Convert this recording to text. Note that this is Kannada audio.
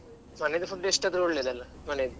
food ಎಷ್ಟ್ ಆದ್ರೂ ಒಳ್ಳೆಯದಲ್ಲ ಮನೆಯಲ್ಲಿ.